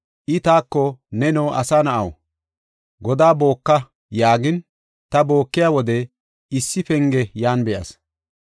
I taako, “Neno, asa na7aw, godaa booka” yaagin, ta bookiya wode issi penge yan be7as.